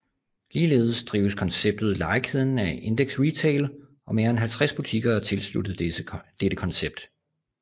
Ligeledes drives konceptet Legekæden af Indeks Retail og mere end 50 butikker er tilsluttet dette koncept